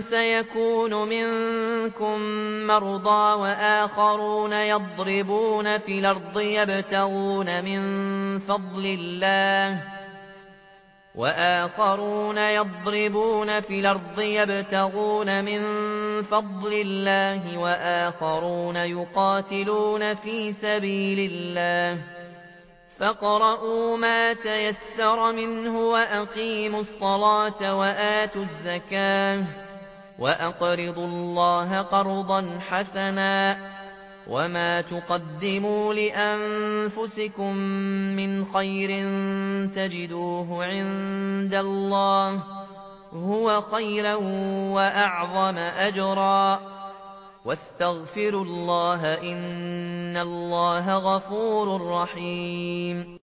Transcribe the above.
سَيَكُونُ مِنكُم مَّرْضَىٰ ۙ وَآخَرُونَ يَضْرِبُونَ فِي الْأَرْضِ يَبْتَغُونَ مِن فَضْلِ اللَّهِ ۙ وَآخَرُونَ يُقَاتِلُونَ فِي سَبِيلِ اللَّهِ ۖ فَاقْرَءُوا مَا تَيَسَّرَ مِنْهُ ۚ وَأَقِيمُوا الصَّلَاةَ وَآتُوا الزَّكَاةَ وَأَقْرِضُوا اللَّهَ قَرْضًا حَسَنًا ۚ وَمَا تُقَدِّمُوا لِأَنفُسِكُم مِّنْ خَيْرٍ تَجِدُوهُ عِندَ اللَّهِ هُوَ خَيْرًا وَأَعْظَمَ أَجْرًا ۚ وَاسْتَغْفِرُوا اللَّهَ ۖ إِنَّ اللَّهَ غَفُورٌ رَّحِيمٌ